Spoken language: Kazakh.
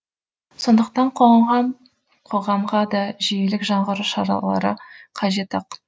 сондықтан қоғам қоғамға да жүйелік жаңғыру шаралары қажет ақ